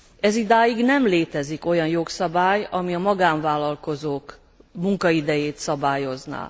Ezidáig nem létezik olyan jogszabály, ami a magánvállalkozók munkaidejét szabályozná.